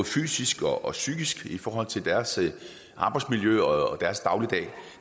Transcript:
fysisk og psykisk i forhold til deres arbejdsmiljø og deres dagligdag